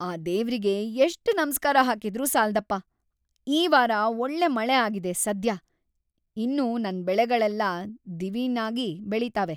ಆ ದೇವ್ರಿಗೆ ಎಷ್ಟ್‌ ನಮ್ಸ್ಕಾರ ಹಾಕಿದ್ರೂ ಸಾಲ್ದಪ್ಪ! ಈ ವಾರ ಒಳ್ಳೆ ಮಳೆ ಆಗಿದೆ ಸದ್ಯ. ಇನ್ನು ನನ್ ಬೆಳೆಗಳೆಲ್ಲ ದಿವಿನಾಗ್‌ ಬೆಳೀತವೆ.